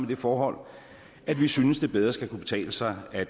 det forhold at vi synes det bedre skal kunne betale sig at